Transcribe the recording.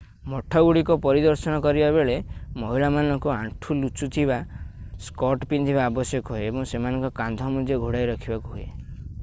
ମଠଗୁଡ଼ିକ ପରିଦର୍ଶନ କରିବା ବେଳେ ମହିଳାମାନଙ୍କୁ ଆଣ୍ଠୁ ଲୁଚୁଥିବା ସ୍କର୍ଟ ପିନ୍ଧିବା ଆବଶ୍ୟକ ହୁଏ ଏବଂ ସେମାନଙ୍କ କାନ୍ଧ ମଧ୍ୟ ଘୋଡାଇ ରଖିବାକୁ ହୁଏ